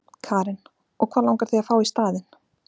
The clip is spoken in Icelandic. Karen: Og hvað langar þig að fá í staðinn?